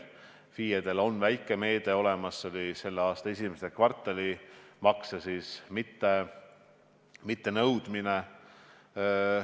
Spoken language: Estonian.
FIE-delegi on väike meede olemas: selle aasta esimese kvartali makse mittenõudmine.